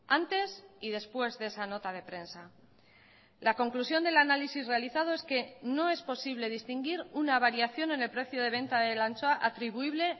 antes y después de esa nota de prensa la conclusión del análisis realizado es que no es posible distinguir una variación en el precio de venta de la anchoa atribuible